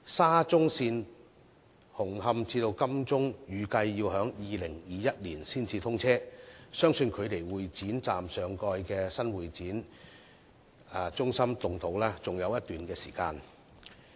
沙中線紅磡至金鐘段預計要到2021年才通車，相信距離會展站上蓋的新會展中心動土仍有一段長時間。